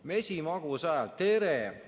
Mesimagus hääl: "Tere!